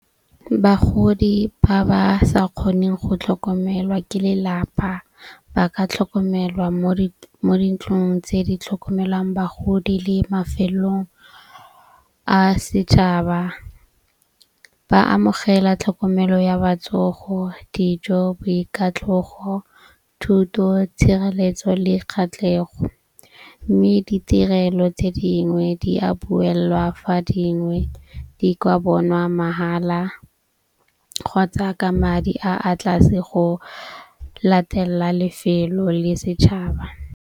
Bagodi ba ba sa kgoneng go tlhokomelwa ke lelapa ba ka tlhokomelwa mo mo dintlong tse di tlhokomelang bagodi le mafelong a setšhaba. Ba amogela tlhokomelo ya batsogo, dijo, boikatlhogo, thuto, tshireletso le kgatlhego. Mme ditirelo tse dingwe di a duellwa fa dingwe di kwa bonwa mahala kgotsa ka madi a a tlase go latelela lefelo le setšhaba.